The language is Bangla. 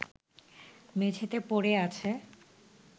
মেঝেতে পড়ে আছে